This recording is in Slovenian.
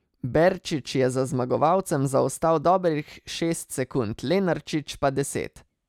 Berčič je za zmagovalcem zaostal dobrih šest sekund, Lenarčič pa deset.